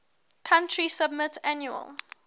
country submit annual